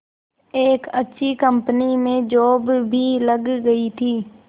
एक अच्छी कंपनी में जॉब भी लग गई थी